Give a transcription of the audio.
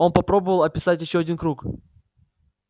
он попробовал описать ещё один круг